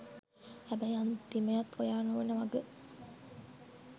හැබැයි අන්තිමයත් ඔයා නොවෙන වග